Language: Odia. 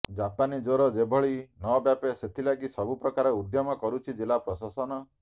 ଜାପାନୀ ଜ୍ୱର ଯେଭଳି ନବ୍ୟାପେ ସେଥିଲାଗି ସବୁପ୍ରକାର ଉଦ୍ୟମ କରୁଛି ଜିଲ୍ଲା ପ୍ରଶାସନ